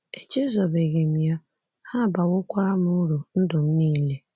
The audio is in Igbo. Echezọbeghị m ya, ha abawokwara m uru ndụ m nile.